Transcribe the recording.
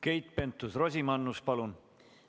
Keit Pentus-Rosimannus, palun!